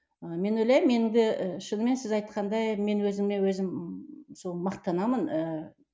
ы мен ойлаймын менің де ы шынымен сіз айтқандай мен өзіме өзім сол мақтанамын ыыы